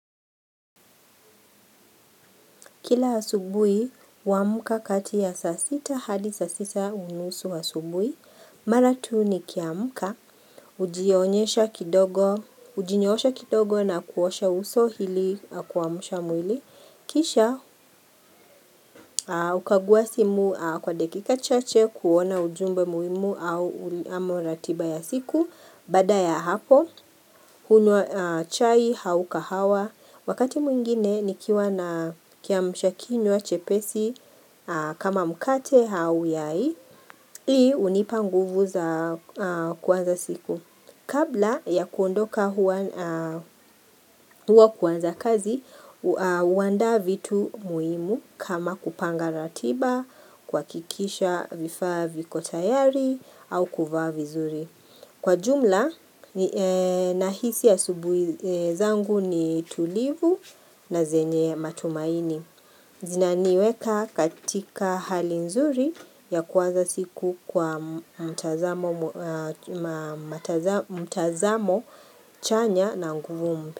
Kila asubui, huamka kati ya saa sita hadi saa sita unusu asubui. Mara tu nikiamka, hujionyesha kidogo, hujinyoosha kidogo na kuosha uso hili kuamusha mwili. Kisha, hukaguwa simu kwa dakika chache kuona ujumbe muhimu au ama ratiba ya siku. Bada ya hapo, hunywa chai au kahawa. Wakati mwingine nikiwa na kiamshakinywa chepesi kama mkate au yai, hii hunipa nguvu za kuanza siku. Kabla ya kuondoka huwa kuanza kazi, huandaa vitu muhimu kama kupanga ratiba, kuhakikisha vifaa viko tayari au kuvaa vizuri. Kwa jumla nahisi asubuhi zangu ni tulivu na zenye matumaini. Zinaniweka katika hali nzuri ya kuwaza siku kwa mtazamo chanya na nguvu mpya.